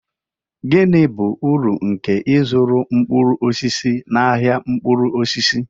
Gịnị bụ uru nke ịzụrụ mkpụrụ osisi na ahia mkpụrụ osisi?